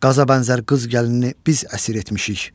Qaza bənzər qız gəlinini biz əsir etmişik.